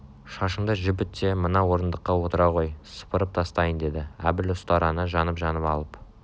шашынды жібіт те мына орындыққа отыра ғой сыпырып тастайын деді әбіл ұстараны жанып-жанып алып